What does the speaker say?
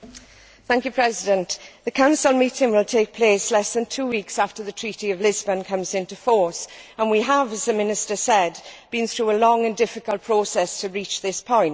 Mr President, the Council meeting will take place less than two weeks after the Treaty of Lisbon comes into force and we have, as the Minister said, been through a long and difficult process to reach this point.